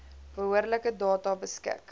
behoorlike data beskik